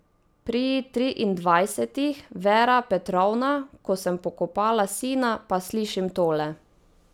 Pri triindvajsetih, Vera Petrovna, ko sem pokopala sina, pa slišim tole!